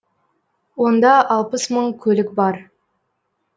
онда алпыс мың көлік бар